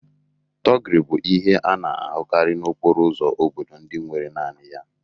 Thuggery bụ ihe a na-ahụkarị n'okporo ụzọ obodo ndị nwere naanị ya